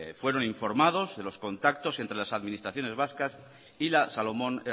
fueron informados de los contactos de las administraciones vascas y la salomón